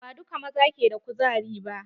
Ba duka maza ke da ƙuzari ba